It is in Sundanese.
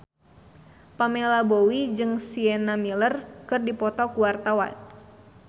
Pamela Bowie jeung Sienna Miller keur dipoto ku wartawan